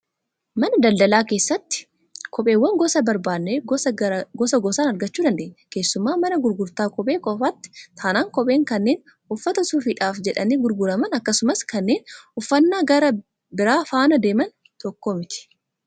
Mana daldalaa keessatti kopheewwan gosa barbaadnee gosa gosaan argachuu dandeenya. Keessumaa mana gurgurtaa kophee qofaati taanaan kopheen kanneen uffata suufiidhaaf jedhanii gurguraman akkasumas kanneen uffannaa gara biraa faana deeman tokko miti.